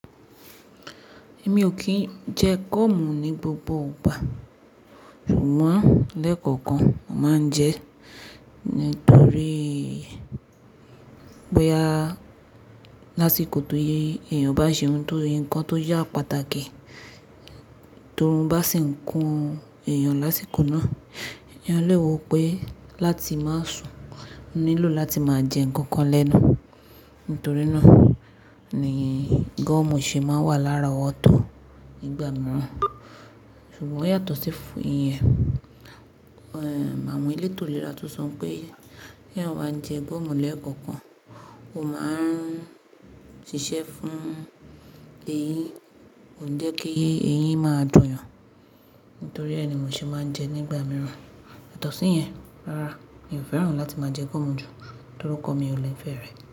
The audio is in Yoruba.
Mi ò kí ń jẹ gomù ní gbogbo ìgbà, ṣùgbọ́n lẹ́ẹ̀kọ̀kan máa ń jẹ nítorí bóyá lásìkò tó yé èèyàn bá ṣe ohun tó, nǹkan tó yá pàtàkì, torí ó bá sì ń kun èèyàn lásìkò náà, èèyàn lè wò pé láti máa sùn, ó nílò láti máa jẹ nǹkan kan lẹ́nu. Nítorí náà ni gọ̀mù ṣe máa wà lárowọ̀tọ̀ nígbà mìíràn. Ṣùgbọ́n o yàtọ̀ sí ìyẹn, Ehm awon eleto iléra tó sọ pé kí èèyàn máa jẹ gọ̀mù lẹ́ẹ̀kọ̀kan, ó máa ń ṣiṣẹ́ fún eyín, kò n jẹ́ kí eyín máa dùn yàn. Nítorí ẹ ni mọ ṣe máa ń jẹ nígbà mìíràn. Yàtọ̀ sí ìyẹn, rárá, mi ò fẹ́ràn láti máa jẹ gúmù jù torí ọkọ mi ò le fẹ́ rẹ̀.